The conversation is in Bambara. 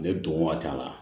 Ne don waati la